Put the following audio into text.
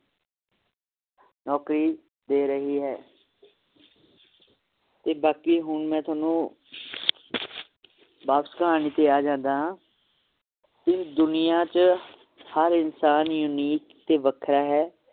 ਨੌਕਰੀ ਦੇ ਰਹੀ ਹੈ ਤੇ ਬਾਕੀ ਹੁਣ ਮੈ ਤੁਹਾਨੂੰ ਬੱਸ ਕਹਾਣੀ ਤੇ ਆ ਜਾਂਦਾ ਹਾਂ ਇਸ ਦੁਨੀਆਂ ਚ ਹਰ ਇਨਸਾਨ unique ਤੇ ਵੱਖਰਾ ਹੈ